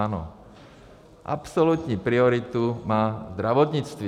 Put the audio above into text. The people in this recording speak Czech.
Ano, absolutní prioritu má zdravotnictví.